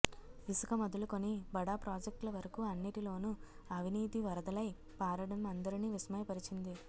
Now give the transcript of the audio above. ఇసుక మొదలుకొని బడా ప్రాజెక్టుల వరకూ అన్నిటిలోనూ అవినీతి వరదలై పారడం అందరినీ విస్మయ పరిచింది